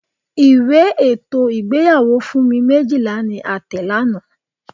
Ìwé ètò ìgbéyàwó Funmi Méjìlá ni a tẹ̀ lánàá.